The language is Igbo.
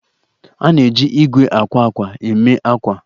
A na-eji igwe akwa akwa eme akwa